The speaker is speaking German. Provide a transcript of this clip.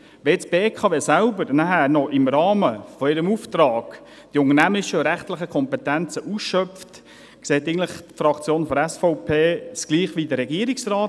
Wenn die BKW anschliessend selbst im Rahmen ihres Auftrags die unternehmerischen und rechtlichen Kompetenzen ausschöpft, sieht es die Fraktion der SVP gleich wie der Regierungsrat.